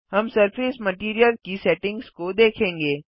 हम surface material की settings को देखेंगे